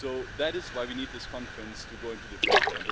That is why we need this conference to go into the future.